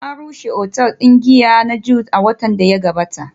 An rushe otal din giya na Jude a watan da ya gabata